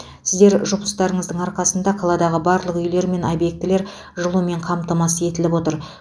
сіздер жұмыстарыңыздың арқасында қаладағы барлық үйлер мен объектілер жылумен қамтамасыз етіліп отыр